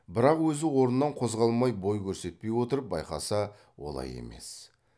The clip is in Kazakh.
бірақ өзі орнынан қозғалмай бой көрсетпей отырып байқаса олай емес